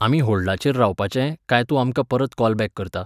आमी हॉल्डाचेर रावपाचें, कांय तूं आमकां परत कॉल बॅक करता?